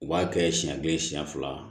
U b'a kɛ siɲɛ kelen siɲɛ fila